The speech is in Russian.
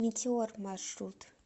метеор маршрут